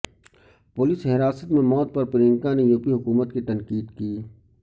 police حراست میں موت پر پرینکا نے یو پی حکومت کی تنقید کی